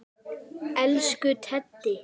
Elsku Teddi.